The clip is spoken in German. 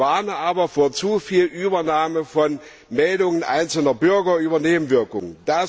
Ich warne aber vor zuviel Übernahme von Meldungen einzelner Bürger über Nebenwirkungen.